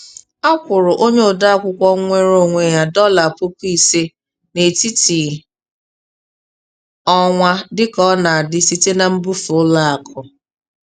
A kwụrụ onye ode akwụkwọ nweere onwe ya dọla puku ise n'etiti ọnwa dịka ọ na-adị site na mbufe ụlọ akụ.